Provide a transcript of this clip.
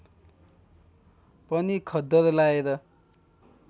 पनि खद्दर लाएर